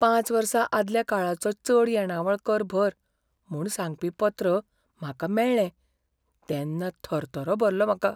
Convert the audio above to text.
पांच वर्सां आदल्या काळाचो चड येणावळ कर भर म्हूण सांगपी पत्र म्हाका मेळ्ळें तेन्ना थरथरो भरलो म्हाका.